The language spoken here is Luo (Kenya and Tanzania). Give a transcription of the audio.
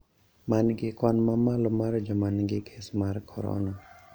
Ma nigi kwan mamalo mar joma nigi kes mar corona